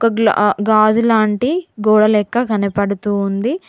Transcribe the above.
ఒక గ్లా ఆ గాజు లాంటి గోడ లెక్క కనపడుతూ ఉంది.